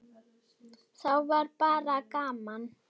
Þá var bara gaman.